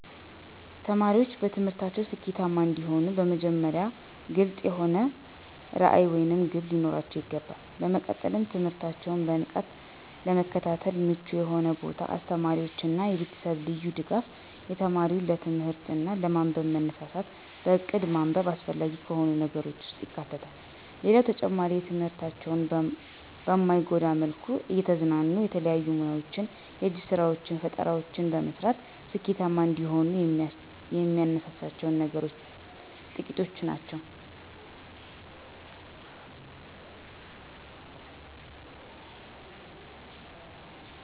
ተማሪዎች በትምህርታቸው ስኬታማ እንዲሆኑ በመጀመሪያ ግልፅ የሆነ ራዕይ ወይም ግብ ሊኖራቸው ይገባል። በመቀጠልም ትምህርታቸውን በንቃት ለመከታተል ምቹ የሆነ ቦታ፣ የአስተማሪዎች እና የቤተሰብ ልዩ ድጋፍ፣ የተማሪው ለትምህርት እና ለማንበብ መነሳሳት፣ በእቅድ ማንበብ አስፈላጊ ከሆኑ ነገሮች ውስጥ ይካተታሉ። ሌላው ተማሪዎች ትምህርታቸውን በማይጎዳ መልኩ እየተዝናኑ የተለያዩ ሙያወችን፣ የእጅ ስራወችን፣ ፈጠራወችን መስራት ስኬታማ እንደሆኑ ከሚያነሳሳቸው ነገሮች ጥቂቶቹ ናቸው።